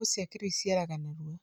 mbegũ cia kĩĩrĩu ciciaraga narua